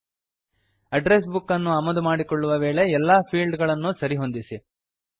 address book ಅನ್ನು ಆಮದು ಮಾಡಿಕೊಳ್ಳುವ ವೇಳೆಯಲ್ಲಿ ಎಲ್ಲಾ ಫೀಲ್ಡ್ ಗಳನ್ನು ಸರಿ ಹೊಂದಿಸಿ